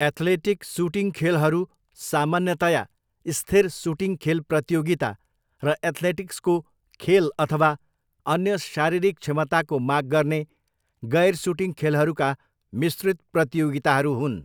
Athletic shooting खेलहरू सामान्यतया स्थिर सुटिङ खेल प्रतियोगिता र एथ्लेटिक्सको खेल अथवा अन्य शारीरिक क्षमताको माग गर्ने गैर सुटिङ खेलहरूका मिश्रित प्रतियोगिताहरू हुन्।